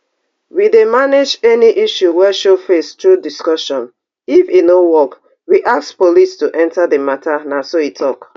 we dey manage any issues wey show face through discussions if e no work we ask police to enter di matter na so e tok